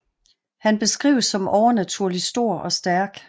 Han beskrives som overnaturlig stor og stærk